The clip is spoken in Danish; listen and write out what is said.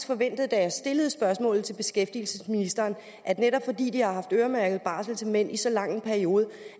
forventet da jeg stillede spørgsmålet til beskæftigelsesministeren at netop fordi de har haft øremærket barsel til mænd i så lang en periode